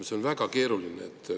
See on väga keeruline.